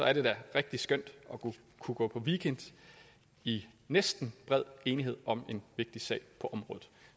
er det da rigtig skønt at kunne gå på weekend i næsten bred enighed om en vigtig sag på området